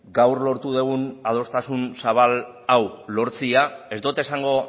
gaur lortu dugun adostasun zabal hau lortzea ez dut esango